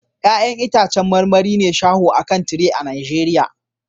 Ya'yan itãcen marmari ne shaho a kan tire a Najeriya